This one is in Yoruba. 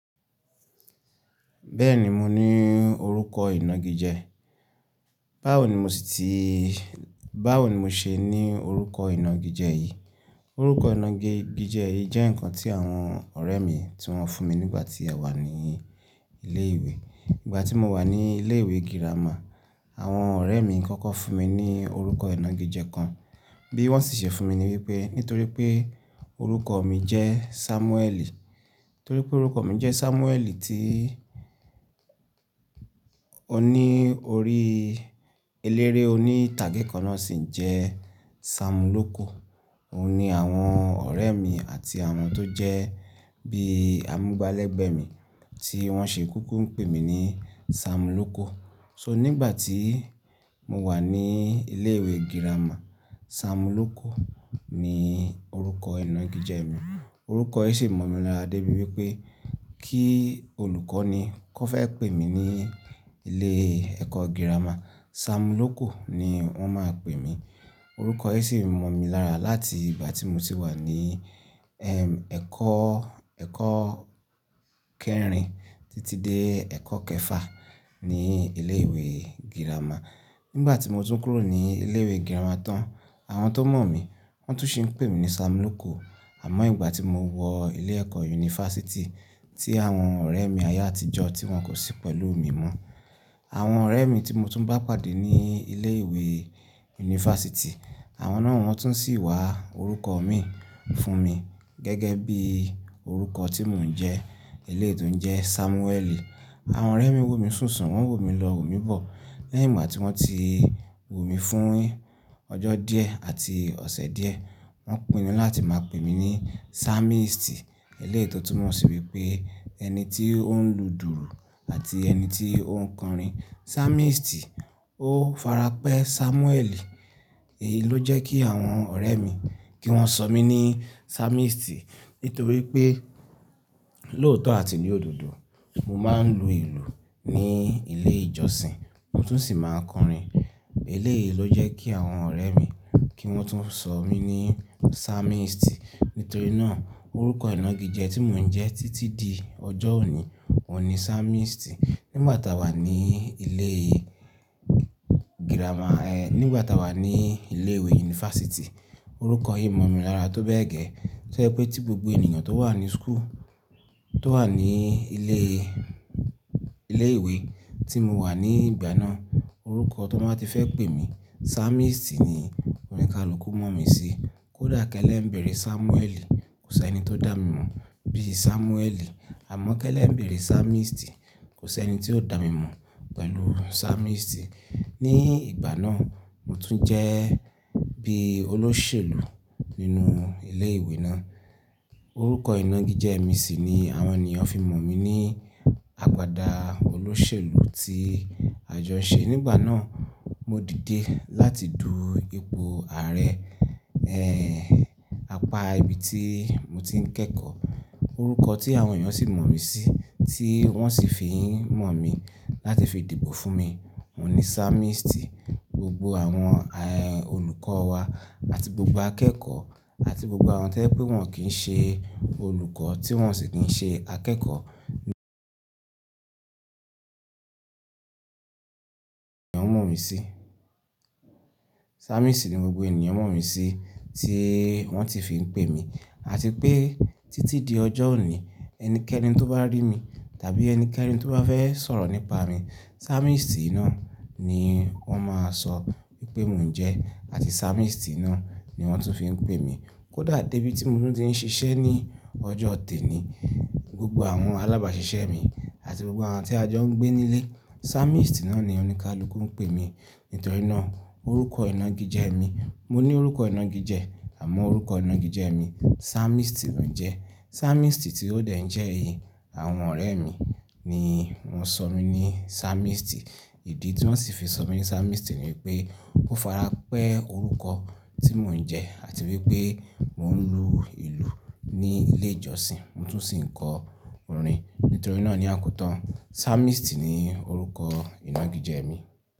Bẹ́ẹ̀ni mo ní orúkọ ìnagijẹ, báwo ni mo sì ti, báwo ni mo ṣe ní orúkọ ìnagijẹ yìí? Orúkọ ìnagijẹ yìí jẹ́ ǹkan tí àwọn ọ̀rẹ́ mi tí wọ́n fún mi nígbà tí a wà ní ilé ìwé. Nígbà tí mo wà ní ilé ìwé girama àwọn ọ̀rẹ́ mi kọ́kọ́ fún mi ní orúkọ ìnagijẹ kan, bí wọ́n sì ṣe fún mi ni wípé nítorí pé orúkọ mi jẹ́ Samueli, torí pé orúkọ mi jẹ́ Samueli tí ó ní orí eléré oní ìtàgé kan náà sì ń jẹ́ Samloko. Óun ní àwọn ọ̀rẹ́ mi àti àwọn tó jẹ́ bí amúgbálẹ́gbẹ̀ẹ́ mi tí wọ́n ṣe kúkú ń pè mí ní Samloko. So nígbà tí mo wà ní ilé ìwé girama Samloko ni orúkọ ìnagijẹ mi. Orúkọ yìí sì mọ̀ mi lára dé bí wípé kí olùkọ́ni kọ́ fẹ́ pè mí ní ilé ẹ̀kọ́ girama Samloko ni wọ́n máa pè mí. Orúkọ yìí sì mọ̀ mi lára láti ìgbà tí mo ti wà ní ẹ̀kọ́, ẹ̀kọ́ kẹrin títí dé ẹ̀kọ́ kẹfà ní ilé ìwé girama. Nígbà tí mo tún kúrò ní ilé ìwé girama tán, àwọn tó mọ̀ mí wọ́n tún ṣe ń pè mí ní Samloko àmọ́ ìgbà tí mo wọ ilé ẹ̀kọ́ yunifásítì tí àwọn ọ̀rẹ́ mi ayé àtijọ́ tí wọ́n kò sí pẹ̀lú mi mọ́. Àwọn ọ̀rẹ́ mi tí mo tún bá pàdé ní ilé ìwé yunifásítì àwọn náà wọ́n tún sì wá orúkọ mi fún mi gẹ́gẹ́ bí orúkọ tí mò ń jẹ eléyi to ń jẹ́ Samueli. Àwọn ọ̀rẹ́ mi wò mí sùnsun wọ́n wò mí lọ wò mí bọ̀ lẹ́yìn ìgbà tí wọ́n ti wò mí fún ọjọ́ díẹ̀ àti ọ̀sẹ̀ díẹ̀ wọ́n pinnu láti máa pè mí ní Samisti, eléyi to tún mọ̀ sí wípé ẹni tí ó ń lù dùrù àti ẹni tí ó ń kọrin. Samisti ó farapẹ́ Samueli èyí ló jẹ́ kí àwọn ọ̀rẹ́ mi kí wọ́n ṣọ mí ní Samisti nítorí pé lóòótọ́ àti ní òdodo mo máa ń lu ìlù ní ilé ìjọsìn mo tún sì máa ń kọrin. Eléèyí ló jẹ́ kí àwọn ọ̀rẹ́ mi kí wọ́n tún ṣọ mí ní Samisti nítorí náà orúkọ ìnagijẹ tí mò ń jẹ títí di ọjọ́ òní òun ní Samisti. Nígbà tá wà ní ilé girama ẹ nígbà tá wà ní ilé ìwé yunifásítì orúkọ yìí mọ̀ mi lára tó bẹ́ẹ̀ gẹ tó jẹ́ pé tí gbogbo ènìyàn tó wà ní school tó wà ní ilé ìwé tí mo wà ní ìgbà náà orúkọ tó ba ti fẹ́ pè mí Samisti ni ońi kàlùkù mọ̀ mí sí. Kódà kẹ́lẹ́ ń bẹ̀rẹ̀ Samueli kò sí ẹni tó dà mí mọ̀ bíi Samueli, àmọ́ kẹ́lẹ́ ń bẹ̀rẹ̀ Samisti kò sí ẹni tí ó dà mí mọ̀ pẹ̀lú Samisti. Ní ìgbà náà mo tún jẹ́ bí i olóṣèlú nínú ilé ìwé náà orúkọ ìnagijẹ mi sì ni àwọn ènìyàn fi ń mọ̀ mí ní àgbadà olóṣèlú tí àjọ ṣe nígbà náà. Mo dìde láti dùú ipò ààrẹ apá ibi tí mo ti ń kẹ́kọ̀ọ́ orúkọ tí àwọn ènìyàn sì mọ̀ mí sí tí wọ́n sì fi ń mọ̀ mí láti fi dìbò fún mi òun ní Samisti gbogbo àwọn olùkọ́ wa àti gbogbo akẹ́kọ̀ọ́ àti gbogbo àwọn tí o jẹ pé wọn kì í ṣe olùkọ́ tí wọn sì ti ń ṣe akẹ́kọ̀ọ́ ní ẹ̀ ń mọ̀ mí sí Samisti ni gbogbo ènìyàn mọ̀ mí sí tí wọ́n ti fi ń pè mí. Àti pé títí di ọjọ́ òní ẹnikẹ́ni tó bá rí mi tàbí ẹnikẹ́ni tó bá fẹ́ sọ̀rọ̀ nípa mi Samisti náà ni wọ́n máa sọ wípé mò ń jẹ́ àti Samisti náà ni wọ́n tún fi ń pè mí. Kódà débi tí mo tún ti ń ṣiṣẹ́ ní ọjọ́ òní gbogbo àwọn alábàáṣiṣẹ́ mi àti gbogbo àwọn tí a jọ ń gbé nílé Samisti náà ni ónìkàlùkù ń pè mí nítorí náà orúkọ ìnagijẹ mi. Mo ní orúkọ ìnagijẹ àmọ́ orúkọ ìnagijẹ mi Samisti lò ń jẹ́. Samisti tí ó dẹ̀ ń jẹ́ èyí àwọn ọ̀rẹ́ mi ni wọ́n ṣọ mí ní Samisti ìdí tí wọ́n sì fi ṣọ mí ní Samisti ni wípé ó farapẹ́ orúkọ tí mò ń jẹ́ àti wípé mò ń lu ìlù ní ilé ìjọsìn mo tún sì ń kọ orin nítorí náà ni àkótán Samisti ni orúkọ ìnagijẹ mi.